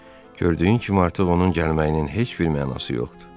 Gördüyün kimi artıq onun gəlməyinin heç bir mənası yoxdur.